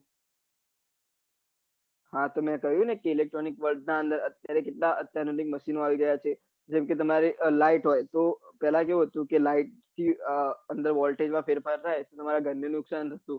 હા તો કહ્યું કે electronic world અત્યારે કેટલાક અત્યાધુનિક machino આવી ગયા છે જેમકે તમારે લાઈટ હોય પેલા કેવું હતું કે લાઈટ થી અંદર વોલ્ટેજ માં ફેરફાર થાય તમારા ઘર ને નુકસાન થતું